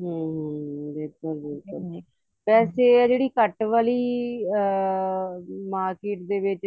ਹਮ ਹਮ ਬਿਲਕੁਲ ਬਿਲਕੁਲ ਵੈਸੇ ਆਹ ਜਿਹੜੀ cut ਵਾਲੀ ਅਹ market ਦੇ ਵਿੱਚ